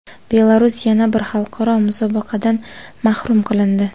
Belarus yana bir xalqaro musobaqadan mahrum qilindi.